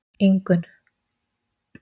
Ingunn